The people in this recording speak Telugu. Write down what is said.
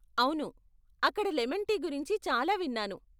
అవును, అక్కడ లెమన్ టీ గురించి చాలా విన్నాను.